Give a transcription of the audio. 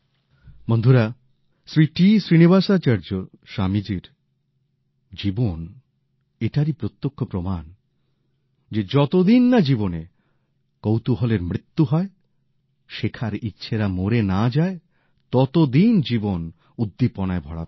বন্ধুরা শ্রী টি শ্রীনিবাসাচার্য স্বামীজির জীবন এটারই প্রত্যক্ষ প্রমাণ যে যতদিন না জীবনে কৌতূহলের মৃত্যু হয় শেখার ইচ্ছেরা মরে না যায় ততদিন জীবন উদ্দীপনায় ভরা থাকে